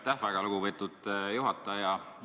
Aitäh, väga lugupeetud juhataja!